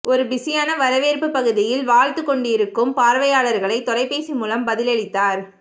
ஒரு பிஸியான வரவேற்புப் பகுதியில் வாழ்த்துக் கொண்டிருக்கும் பார்வையாளர்களை தொலைபேசி மூலம் பதிலளித்தார்